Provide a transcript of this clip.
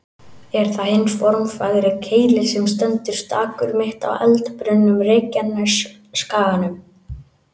Er það hinn formfagri Keilir sem stendur stakur, mitt á eldbrunnum Reykjanesskaganum.